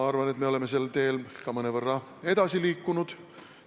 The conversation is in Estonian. Arvan, et me oleme sel teel ka mõnevõrra edasi liikunud.